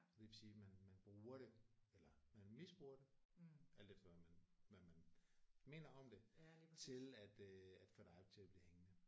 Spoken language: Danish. Og det vil sige man man bruger det eller man misbruger det alt efter hvad man hvad man mener om det til at øh at få dig til at blive hængende